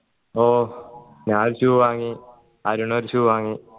ഓ ഞാനൊരു shoe വാങ്ങി അരുൺ ഒരു shoe വാങ്ങി